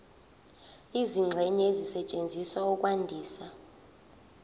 izingxenye ezisetshenziswa ukwandisa